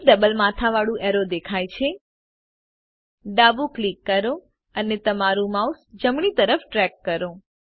એક ડબલ માથાવાળું એરો દેખાય છે ડાબું ક્લિક કરો અને તમારું માઉસ જમણી તરફ ડ્રેગ કરો